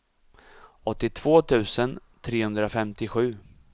åttiotvå tusen trehundrafemtiosju